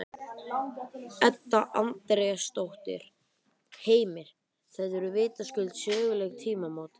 Edda Andrésdóttir: Heimir, þetta eru vitaskuld söguleg tímamót?